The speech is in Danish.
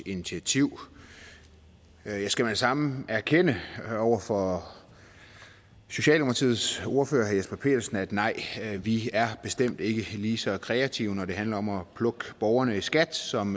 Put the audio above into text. initiativ jeg skal med det samme erkende over for socialdemokratiets ordfører herre jesper petersen at nej vi er bestemt ikke lige så kreative når det handler om at plukke borgerne i skat som